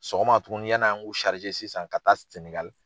Sɔgɔma tuguni yaani an k'u sisan ka taa Sɛnɛgali